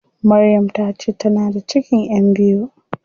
Maryam tace tana da cikin ƴan biyu.